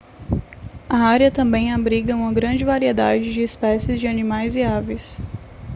a área também abriga uma grande variedade de especies de animais e aves